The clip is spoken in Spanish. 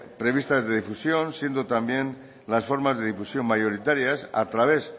previstas de difusión siendo también las formas de difusión mayoritarias a través